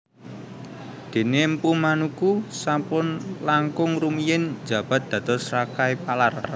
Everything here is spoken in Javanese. Dene Mpu Manuku sampun langkung rumiyin njabat dados Rakai Palar